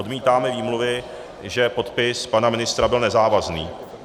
Odmítáme výmluvy, že podpis pana ministra byl nezávazný.